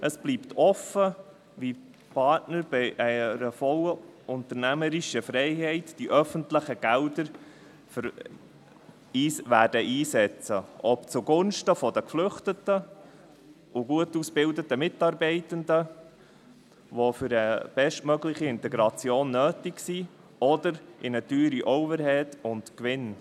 Es bleibt offen, wie die Partner, bei vollumfänglicher unternehmerischer Freiheit, die öffentlichen Gelder einsetzen werden – ob zugunsten der Geflüchteten und der gut ausgebildeten Mitarbeitenden, die für eine bestmögliche Integration nötig sind, oder für einen teuren Overhead und einen Gewinn.